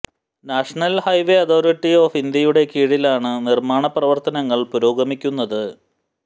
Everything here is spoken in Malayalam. നാഷണൽ ഹൈവേ അഥോറിറ്റി ഓഫ് ഇന്ത്യയുടെ കീഴിലാണ് നിർമ്മാണ പ്രവർത്തനങ്ങൾ പുരോഗമിക്കുന്നത്